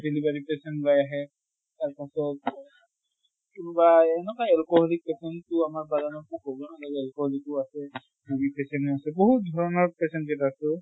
তেনেকুৱা replacement ওলাই আহে, তাৰ পাছত কোনোবা এনেকাই আৰু কভিড patient তো আমাৰ বাগানত তো আছে, কভিড patient ও আছে। বহুত ধৰণৰ patient গিতা আছে